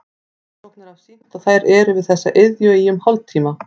Rannsóknir hafa sýnt að þær eru við þessa iðju í um hálftíma.